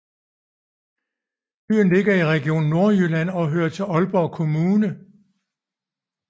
Byen ligger i Region Nordjylland og hører til Aalborg Kommune